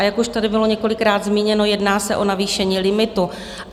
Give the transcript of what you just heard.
A jak už tady bylo několikrát zmíněno, jedná se o navýšení limitu.